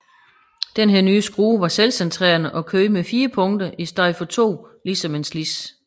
Denne nye skrue var selvcentrerende og kørte med fire punkter i stedet før to ligesom en slids